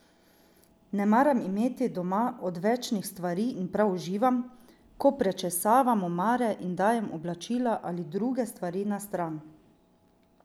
Ne maram imeti doma odvečnih stvari in prav uživam, ko prečesavam omare in dajem oblačila ali druge stvari na stran.